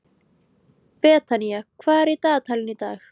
Betanía, hvað er í dagatalinu í dag?